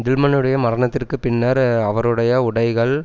டில்மன்னுடைய மரணத்திற்கு பின்னர் அவருடைய உடைகள்